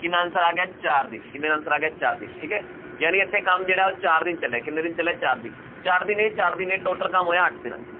ਕਿੰਨਾ answer ਆ ਗਿਆ ਚਾਰ ਦਿਨ answer ਆ ਗਿਆ ਚਾਰ ਦਿਨ ਠੀਕ ਹੈ ਜਾਣੀ ਇੱਥੇ ਕੰਮ ਜਿਹੜਾ ਉਹ ਚਾਰ ਦਿਨ ਚੱਲਿਆ ਹੈ, ਕਿੰਨੇ ਦਿਨ ਚੱਲਿਆ ਹੈ ਚਾਰ ਦਿਨ, ਚਾਰ ਦਿਨ ਇਹ, ਚਾਰ ਦਿਨ ਇਹ total ਕੰਮ ਹੋਇਆ ਅੱਠ ਦਿਨਾਂ 'ਚ